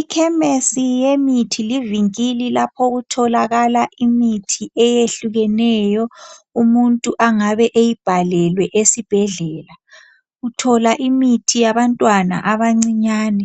Ikhemesi yemithi livinkili lapho okutholakala imithi eyehlukeneyo umuntu angabe eyibhalelwe esibhedlela. Uthola imithi yabantwana abancinyane,